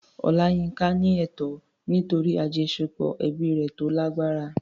Olayinka ní ẹ̀tọ́ nítorí àjọṣepọ̀ ẹbí rẹ̀ tó lágbára.